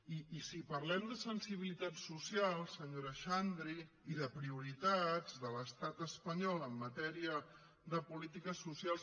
i si parlem de sensibilitats socials senyora xandri i de prioritats de l’estat espanyol en matèria de polítiques socials